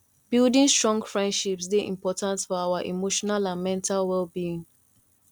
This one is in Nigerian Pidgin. building strong friendships dey important for our emotional and mental wellbeing